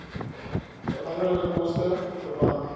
veranderlike koste verwant